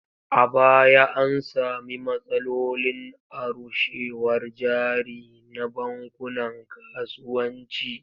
A baya an sami matsalolin arushewar jari na bankunan kasuwanci.